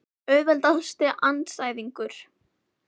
Auðveldasti andstæðingur?